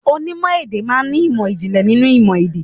Onímò èdè má a n ní ìmò ìjìnlẹ̀ nínú ìmò èdè.